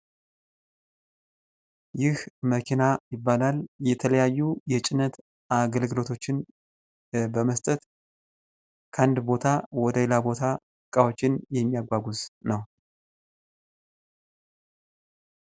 ይህ መኪና ይባላል። የተለያዩ የጭነት አገልግሎቶችን በመስጠት ከአንድ ቦታ ወደ ሌላ ቦታ እቃዎችን የሚያጓጓዝ ነው።